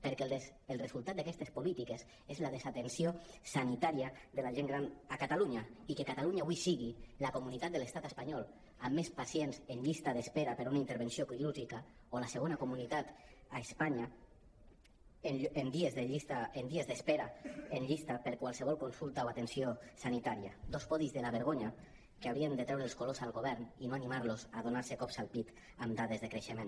perquè el resultat d’aques·tes polítiques és la desatenció sanitària de la gent gran a catalunya i que catalunya avui sigui la comunitat de l’estat espanyol amb més pacients en llista d’espera per a una intervenció quirúrgica o la segona comunitat a espanya en dies d’espera en llis·ta per a qualsevol consulta o atenció sanitària dos podis de la vergonya que haurien de treure els colors al govern i no animar·los a donar·se cops al pit amb dades de creixement